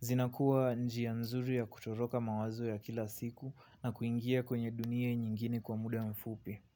Zinakuwa njia nzuri ya kutoroka mawazo ya kila siku na kuingia kwenye dunia nyingine kwa muda mfupi.